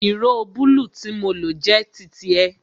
Ìró bulu tí mo lo jẹ́ titi ẹ